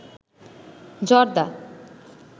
জর্দা